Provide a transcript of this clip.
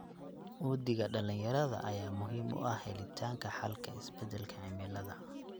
Uhdhigga dhalinyarada ayaa muhiim u ah helitaanka xalka isbedelka cimilada.